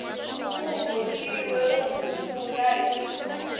ku vothiwe ro sungula hi